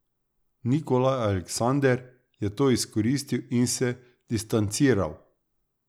Nikolaj Aleksander je to izkoristil in se distanciral.